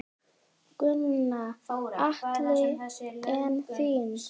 Gunnar Atli: En þín?